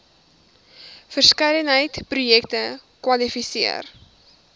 verskeidenheid projekte kwalifiseer